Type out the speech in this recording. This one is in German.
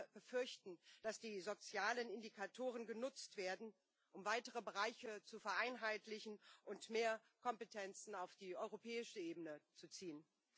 Wir befürchten, dass die sozialen Indikatoren genutzt werden, um weitere Bereiche zu vereinheitlichen und mehr Kompetenzen auf die europäische Ebene zu ziehen.